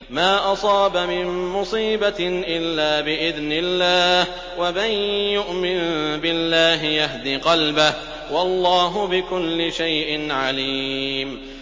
مَا أَصَابَ مِن مُّصِيبَةٍ إِلَّا بِإِذْنِ اللَّهِ ۗ وَمَن يُؤْمِن بِاللَّهِ يَهْدِ قَلْبَهُ ۚ وَاللَّهُ بِكُلِّ شَيْءٍ عَلِيمٌ